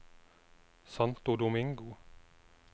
Santo Domingo